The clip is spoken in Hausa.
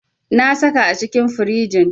Na saka a cikin firinji.